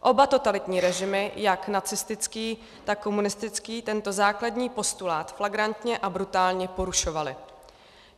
Oba totalitní režimy, jak nacistický, tak komunistický, tento základní postulát flagrantně a brutálně porušovaly.